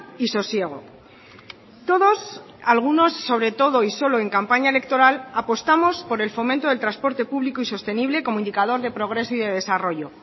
y sosiego todos algunos sobre todo y solo en campaña electoral apostamos por el fomento del transporte público y sostenible como indicador de progreso y de desarrollo